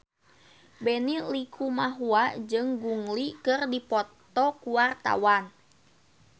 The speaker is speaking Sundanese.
Benny Likumahua jeung Gong Li keur dipoto ku wartawan